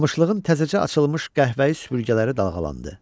Qamışlığın təzəcə açılmış qəhvəyi süpürgələri dalğalandı.